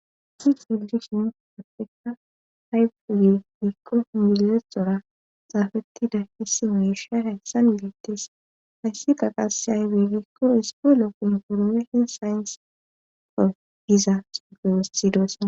si celdishin pappeka haypihuye hiikko inmilexora xaafeti da hisi mirsha hessan milettes hayssi kaqase hay weegekko ispo lo kun hurmeshin sayent fo giza suuge wossidoesa